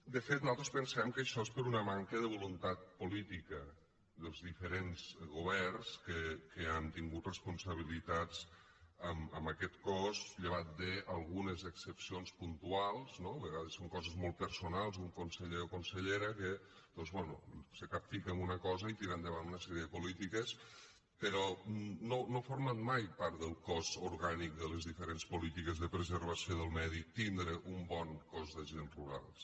de fet nosaltres pensem que això és per una manca de voluntat política dels diferents governs que han tingut responsabilitats en aquest cos llevat d’algunes excepcions puntuals no a vegades són coses molt personals un conseller o consellera que doncs bé se capfica en una cosa i tira endavant una sèrie de polítiques però no ha format mai part del cos orgànic de les diferents polítiques de preservació del medi tindre un bon cos d’agents rurals